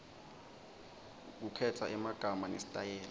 kukhetsa emagama nesitayela